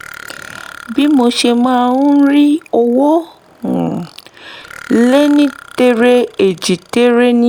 bí mo ṣe máa ń rí owó um lénítere-èjìtere ní